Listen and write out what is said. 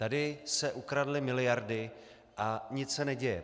Tady se ukradly miliardy, a nic se neděje.